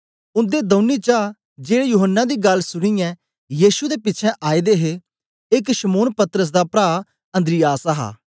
उन्दे दौनी चा जेड़े यूहन्ना दी गल्ल सुनीयै यीशु दे पिछें आए दे हे एक शमौन पतरस दा प्रा अन्द्रियास हा